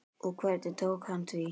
Og hvernig tók hann því?